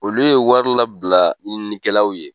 Olu ye wari labila ɲininikɛlaw ye